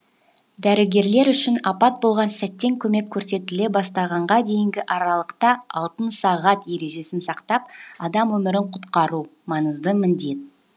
дәрігерлер үшін апат болған сәттен көмек көрсетіле бастағанға дейінгі аралықта алтын сағат ережесін сақтап адам өмірін құтқару маңызды міндет